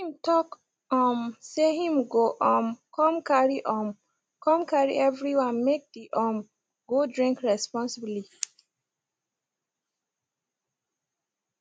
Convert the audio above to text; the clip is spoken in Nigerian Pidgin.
him talk um say him go um come carry um come carry everyone make the um go drink responsibly